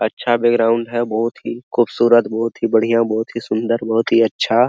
अच्छा बैकग्राउंड है बहुत ही खुबशुरत बहुत ही बढियाँ बहुत ही सुंदर बहुत ही अच्छा।